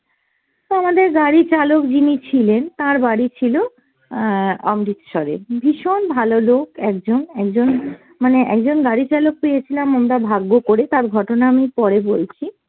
তো আমাদের গাড়ির চালক যিনি ছিলেন তার বাড়ি ছিল আহ অমৃতসরে, ভীষণ ভালো লোক একজন, একজন মানে একজন গাড়ি চালক পেয়েছিলাম আমরা ভাগ্য করে, তার ঘটনা আমি পরে বলছি।